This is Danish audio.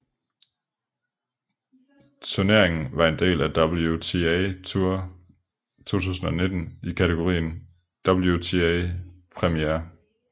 Turneringen var en del af WTA Tour 2019 i kategorien WTA Premier